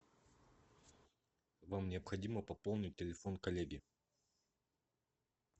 вам необходимо пополнить телефон коллеги